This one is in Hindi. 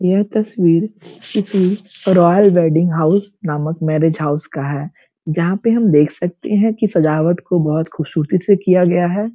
यह तस्वीर किसी रॉयल वेडिंग हाउस नामक मैरिज हाउस का है जहाँ पे हम देख सकते है की सजावट को बहोत खूबसूरती से किया गया है।